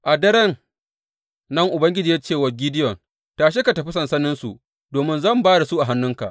A daren nan Ubangiji ya ce wa Gideyon, Tashi ka tafi sansaninsu domin zan ba da su a hannuwanka.